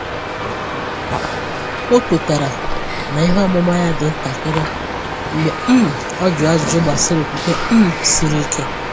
Ọ kwetara na ihe ọmụma ya dị ntakịrị mgbe um ọ jụrụ ajụjụ gbasara okwukwe um siri ike.